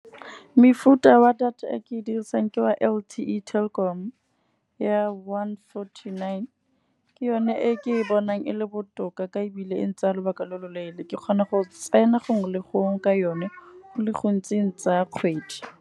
Mefuta ya wa data e ke e dirisang ke wa L_T_E Telkom ya one forty-nine. Ke yone e ke e bonang e le botoka ka ebile e ntsaya lobaka lo lo leele. Ke kgona go tsena gongwe le gongwe ka yone go le gontsi eng tsaya kgwedi.